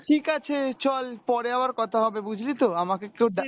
ঠিকাছে চল পরে আবার কথা হবে বুঝলি তো আমাকে কেউ